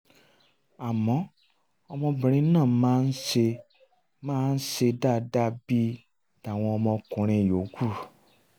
àmọ́ ọmọbìnrin náà máa ń ṣe máa ń ṣe dáadáa bíi tàwọn ọmọkunrin yòókù